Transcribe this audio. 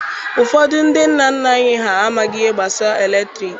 Ụfọdụ ndị nna nna anyị ha amaghị ihe gbasara eletriki.